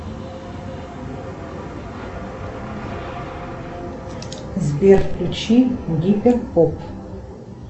сбер включи гипер поп